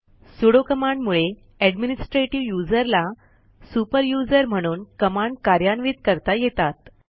sudo कमांडमुळे administrative user ला super user म्हणून कमांड कार्यान्वित करता येतात